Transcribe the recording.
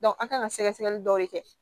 an kan ka sɛgɛsɛgɛli dɔw kɛ